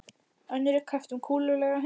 Önnur er kreppt um kúlulaga hundraðkall.